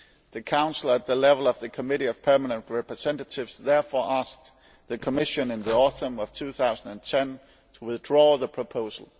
The Council, at the level of the Committee of Permanent Representatives, therefore asked the Commission in the autumn of 2010 to withdraw the proposal.